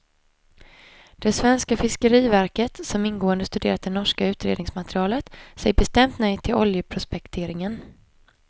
Det svenska fiskeriverket, som ingående studerat det norska utredningsmaterialet, säger bestämt nej till oljeprospekteringen.